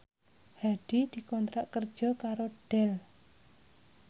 Hadi dikontrak kerja karo Dell